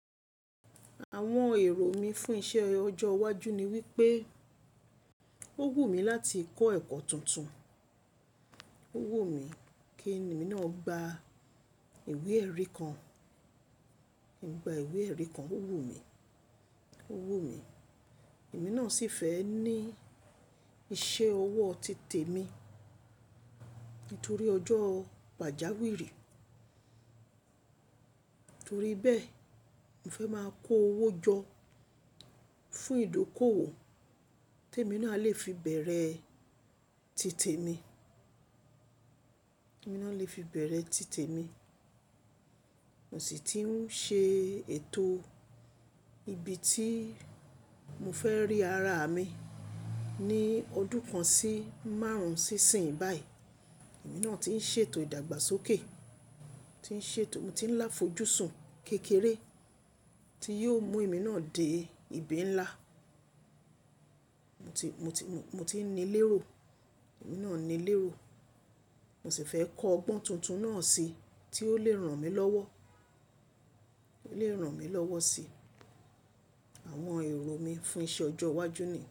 Àwọn èrò mi fún iṣẹ́ ọjọ́ iwájú ni wípé, ó wù mí láti kọ́ ẹ̀kọ́ tuntun, ó wù mí kí èmi náà gba ìwé ẹ̀rí kan. Kí n gba ìwé ẹ̀rí kan, ó wù mí, ó wù mí. Èmi náà sì fẹ́ ní iṣẹ́ ọwọ́ titẹ̀ mi nítorí ọjọ́ pàjáwìrì. Nítorí bẹ́ẹ̀, mo fẹ́ máa ko owó jọ fún ìdókòwò tí èmi náà lè fi bẹ̀rẹ̀ titẹ̀ mi, èmi náà lè fi bẹ̀rẹ̀ titẹ̀ mi. Mo sì ti ń ṣe ètò ibi tí mo fẹ́ rí ara mi ní ọdún kan sí márùn-ún sí ìsìn báyìí. Èmi náà ti ń ṣètò ìdàgbàsókè, tí ń ṣètò, mo ti ń láfojú sùn kékeré tí yóò mú èmi náà dé ibi ńlá. Mo ti, mo ti, mo ti ní lérò, èmi náà ní lérò. Mo sì fẹ́ kọ́ ọgbọ́n tuntun náà sí tí ó lè ràn mí lọ́wọ́, ó lè ràn mí lọ́wọ́ sí. Àwọn èrò mi fún iṣẹ́ ọjọ́ iwájú ni.